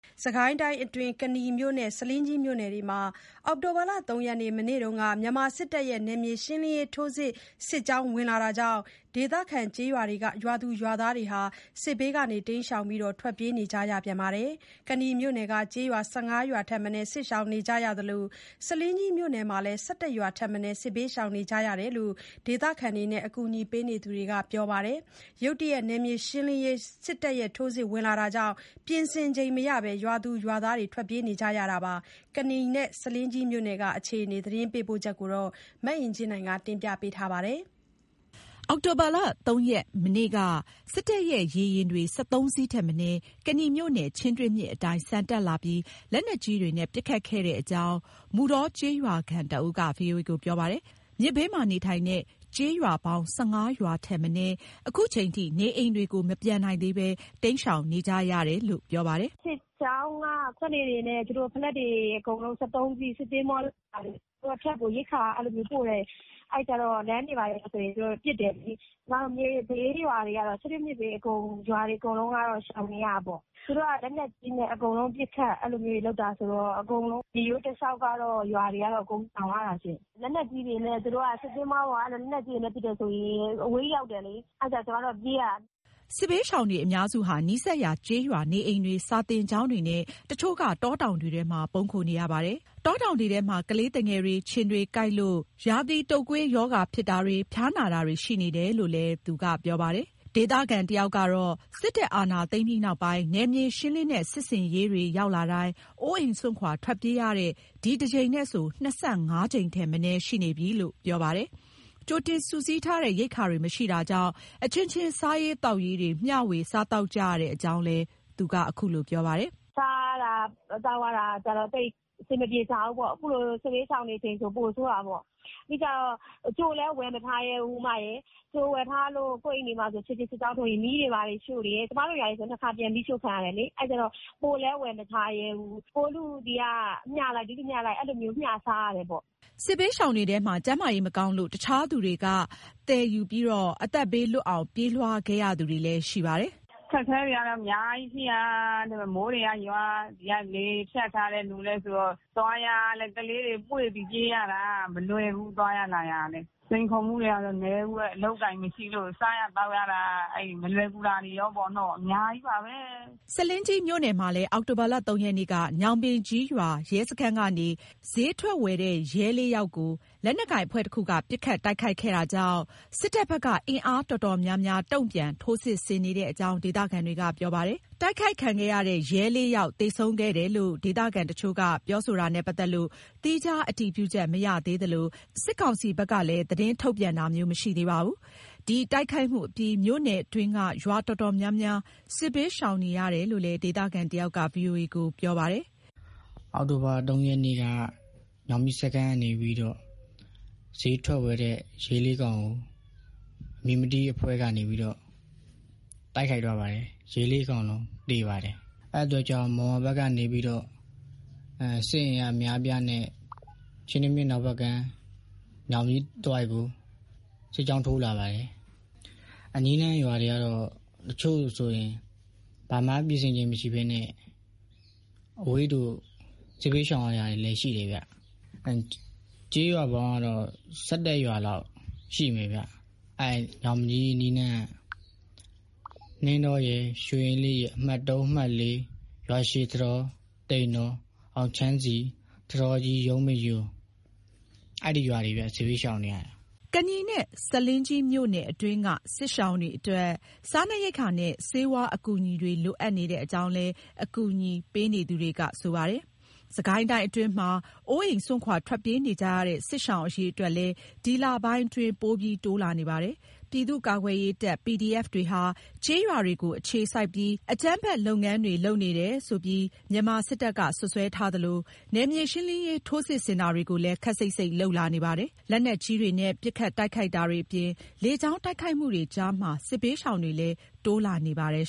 စစ်ကိုင်းတိုင်းအတွင်း ကနီမြို့နဲ့ ဆားလင်းကြီးမြို့နယ်တွေမှာ အောက်တိုဘာ ၃ ရက်နေ့ မနေ့က မြန်မာစစ်တပ်ရဲ့ နယ်မြေရှင်းလင်းရေး ထိုးစစ်၊ စစ်ကြောင်းဝင်လာတာကြောင့် ဒေသခံ ရွာသူရွာသားတွေ တိမ်းရှောင် ထွက်ပြေးနေကြရပြန်ပါတယ်။ ကနီမြို့နယ်က ကျေးရွာ ၁၅ ရွာထက်မနည်း စစ်ရှောင်ကြရသလို ဆားလင်းကြီးမြို့နယ်မှာလည်း ၁၁ ရွာ ထက်မနည်း စစ်ဘေးရှောင်နေကြရတယ်လို့ ဒေသခံတွေနဲ့ အကူအညီပေးနေသူတွေက ပြောပါတယ်။ ရုတ်တရက် နယ်မြေရှင်းလင်းရေး ထိုးစစ်ဝင်လာတာကြောင့် ပြင်ဆင်ချိန်မရဘဲ ရွာသူရွာသားတွေ ထွက်ပြေးကြတဲ့အကြောင်းလည်း ပြောပါတယ်။ ကနီနဲ့ ဆားလင်းကြီးမြို့နယ်အခြေအနေ ရန်ကုန်ကသတင်းပေးပို့ချက်ကို မအင်ကြင်းနိုင်က တင်ပြပေးထားပါတယ်။ အောက်တိုဘာ ၃ ရက်မနေ့က စစ်တပ်ရဲ့ ရေယာဉ်တွေ ၁၃ စီးထက်မနည်း ကနီမြို့နယ် ချင်းတွင်းမြစ်အတိုင်း ဆန်တက်လာပြီး လက်နက်ကြီးတွေနဲ့ ပစ်ခတ်ခဲ့ကြောင်း မုဌောကျေး ရွာခံတဦးက VOA ကို ပြောပါတယ်။ မြစ်ဘေးမှာရှိတဲ့ကျေးရွာ ၁၅ ရွာထက်မနည်း ခုချိန်ထိ နေအိမ်တွေကို မပြန်နိုင်သေးဘဲ တိမ်းရှောင်နေကြရပါတယ်လို့ ပြောပါတယ်။ “စစ်ကြောင်းက စက်လှေတွေနဲ့ သူတို့ ၁၃ စီး စစ်သင်္ဘောတွေ ဘာတွေ၊ သူတို့ဘက်ကို ရိက္ခာ အဲ့လိုမျိုးပို့တယ်။ အဲ့ကျတော့ လမ်းတွေ ဘာတွေဆိုရင် သူတို့က ပစ်တယ်လေ။ ကျမတို့ မြစ်ဘေးရွာတွေကတော့ ချင်းတွင်းမြစ်ဘေး ရွာတွေအကုန်လုံးကတော့ ရှောင်နေရတာပေါ့။ သူတို့က လက်နက်ကြီးနဲ့ အကုန်လုံးပစ်ခတ်၊ အဲ့လိုမျိုးတွေ လုပ်တာဆိုတော့ အကုန်လုံး မြစ်ရိုးတလျှောက်ကရွာတွေကတော့ အကုန်ရှောင်ရတာရှင့်။ လက်နက်ကြီးတွေနဲ့ သူတို့က စစ်သင်္ဘောပေါ်က အဲ့လို လက်နက်ကြီးနဲ့ပစ်တယ်ဆိုရင် အဝေးကြီးရောက်တယ်လေ။ အာ့ကြောင့် ကျမတို့က ပြေးရတာ။” စစ်ဘေးရှောင်တွေအများစုဟာ နီးစပ်ရာကျေးရွာနေအိမ်တွေ စာသင်ကျောင်းတွေနဲ့ တချို့ က တောတောင်တွေထဲမှာ ပုန်းခိုနေရပါတယ်။ တောတောင်ထဲမှာ ကလေးသူငယ်တွေ ခြင်တွေကိုက်လို့ ရာသီးတုပ်ကွေးရောဂါဖြစ်တာတွေ ဖျားနာတာတွေ ရှိနေတယ်လို့လည်း ပြောပါတယ်။ ဒေသခံတယောက်ကတော့ စစ်တပ်အာဏာသိမ်းပြီးနောက်ပိုင်း နယ်မြေရှင်းလင်းတဲ့ စစ် ဆင်ရေးတွေ ရောက်လာတိုင်း အိုအိမ်စွန့်ခွာ ထွက်ပြေးရတာ ဒီတကြိမ်နဲ့ဆို ၂၅ ကြိမ်ထက် မနည်းရှိနေပြီလို့ပြောပါတယ်။ ကြိုတင် စုစည်းထားတဲ့ ရိက္ခာတွေမရှိတာကြောင့် အချင်းချင်း မျှဝေစားသောက်ကြရတဲ့အကြောင်း ပြောပါတယ်။ “စားရတာသောက်ရတာ သိပ်အဆင်မပြေကြဘူးပေါ့။ အခုလို စစ်ဘေးရှောင်နေချိန်ဆို ပိုဆိုးတာပေါ့။ ပြီးကျတော့ တချို့လည်း ဝယ်မထားရဲဘူး။ ကြိုဝယ်ထားလို့ ကိုယ်အိမ်တွေမှာဆို ခြေလျင်စစ်ကြောင်းထိုးရင် မီးတွေဘာတွေရှို့တယ်၊ ကျမတို့ရွာကဆို နှစ်ခါပြန်မီးရှို့ခံရတယ်လေ။ အဲ့ကျတော့ ပိုလည်း ဝယ်မထားရဲဘူး။ ဟိုလူဆီကမျှလိုက်၊ ဒီလူဆီကမျှလိုက် အဲ့လိုမျိုး မျှစားရတယ်ပေါ့။” စစ်ဘေးရှောင်တွေထဲမှာ ကျန်းမာရေး မကောင်းလို့ တခြားသူတွေက သယ်ပြီး အသက်ဘေးလွတ်အောင် ပြေးလွှားခဲ့ရသူတွေလည်း ရှိပါတယ်။ “အခက်အခဲတွေကတော့ အများကြီးရှိတာ။ ဒီမှာမိုးတွေကရွာ ဒီက လေဖြတ်ထားတဲ့လူလည်းဆိုတော့ သွားရလည်း ကလေးတွေပွေ့ပြီးပြေးရတာ မလွယ်ဘူး။ သွားရလာရတာလည်း စိန်ခေါ်မှုတွေကတော့ နည်းဘူးဟဲ့။ အလုပ်အကိုင်မရှိလို့ စားရသောက်ရတာ အဲ့မလွယ်ကူတာတွေရောပေါ့နော် အများကြီးပါပဲ။” ဆားလင်းကြီးမြို့နယ်မှာလည်း အောက်တိုဘာ ၃ ရက်နေ့က ညောင်ပင်ကြီးရွာ ရဲစခန်းကနေ ဈေးထွက်ဝယ်တဲ့ ရဲ ၄ ယောက်ကို လက်နက်ကိုင်အဖွဲ့တခုက ပစ်ခတ်တိုက်ခိုက်ခဲ့တာကြောင့် စစ်တပ်ဘက်က အင်အားတော်တော်များများ တုံ့ပြန် ထိုးစစ်ဆင်နေကြောင်း ဒေသခံတွေက ပြောပါတယ်။ အတိုက်ခိုက်ခံရတဲ့ ရဲ ၄ ယောက် သေဆုံးခဲ့တယ်လို့ ဒေသခံတချို့က ပြောတာနဲ့ပတ်သက်လို့တော့ သီးခြားအတည်ပြုချက်မရသေးသလို စစ်ကောင်စီဘက်က သတင်းထုတ်ပြန်ချက် ထုတ်ပြန်တာလည်း မရှိသေးပါဘူး။ ဒီတိုက်ခိုက်မှုအပြီး မြို့နယ်အတွင်းက ရွာတော်တော်များများ စစ်ဘေးရှောင်နေရတာလို့ ဒေသခံတယောက်က ပြောပါတယ်။ “အောက်တိုဘာ ၃ ရက်နေ့က ညောင်ပင်ကြီးစခန်းက နေပြီးတာ့ ဈေးထွက်ဝယ်တဲ့ ရဲ ၄ ယောက်ကို အမည်မသိအဖွဲ့တခုက တိုက်ခိုက်သွားပါတယ်။ ရဲ ၄ ယောက်လုံး သေသွားပါတယ်။ အဲ့အတွက်ကြောင့် မုံရွာဘက်ကနေပြီးတော့ စစ်အင်အား အများအပြားနဲ့ ချင်းတွင်းမြစ် အနောက်ဘက်ကမ်း ညောင်ပင်ကြီးတဝိုက်ကို စစ်ကြောင်းထိုးလာပါတယ်။ အနီးအနားရွာတွေကတော့ တချို့ဆိုရင် ဘာမှပြင်ဆင်ချိန်မရှိဘဲနဲ့ စစ်ဘေးရှောင်ရတာတွေလည်း ရှိတယ်ဗျ။ ကျေးရွာပေါင်းကတော့ ၁၁ ရွာလောက် ရှိမယ်ဗျ။ အဲ့ညောင်ပင်ကြီး အနီးအနားက နှင်းတောရယ်၊ ရွှေအင်းလေးရယ်၊ အမှတ် ၃၊ အမှတ် ၄၊ ရွာရှည်၊ သိမ်တော်၊ အောင်ချမ်းစည်၊ ထန်းတောကြီး၊ ရုံးပင်ရိုး၊ အဲ့ဒီရွာတွေ အပါအဝင်ဗျ စစ်ဘေးရှောင်ရတာ။” ကနီနဲ့ ဆားလင်းကြီးမြို့နယ်အတွင်းက စစ်ရှောင်တွေအတွက် စားနပ်ရိက္ခာနဲ့ ဆေးဝါး အကူအညီတွေ လိုအပ်နေကြောင်းလည်း အကူအညီပေးနေသူတွေက ပြောပါတယ်။ စစ်ကိုင်းအတွင်းမှာ အိုးအိမ်စွန့်ခွာ ထွက်ပြေးနေကြရတဲ့ စစ်ရှောင်အရေအတွက်လည်း ဒီလပိုင်းတွေအတွင်း ပိုတိုးလာနေပါတယ်။ ပြည်သူ့ကာကွယ်ရေးတပ် PDF တွေဟာ ကျေး ရွာတွေကို အခြေစိုက်ပြီး အကြမ်းဖက်လုပ်ငန်းတွေ လုပ်နေတယ်ဆိုတယ်လို့ မြန်မာစစ်တပ်က စွပ်စွဲပြီး နယ်မြေရှင်းလင်းရေး ထိုးစစ်ဆင်တာတွေကို ခပ်စိပ်စိပ် လုပ်လာနေပါတယ်။ လက်နက်ကြီးတွေနဲ့ ပစ်ခတ်တိုက်ခိုက်တာတွေအပြင် လေကြောင်းတိုက်ခိုက်မှုတွေကြားမှာ စစ်ဘေးရှောင်တွေလည်း တိုးလာနေပါတယ်